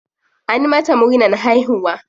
An mata murnan haihuwa?